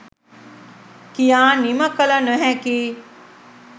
කියා නිම කල නොහැකි